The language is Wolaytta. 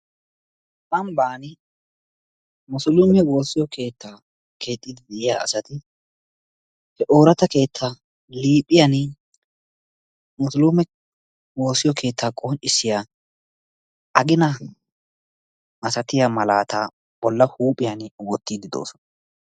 ambbaan musuluume wossiyoo keettaa keexxidi d'iyaa asati he orraata keettaa liphiyaan musuluume woosiyoo keettaa qonccisiyaa qgina milatiyaa malaataa woottidi de'oosona.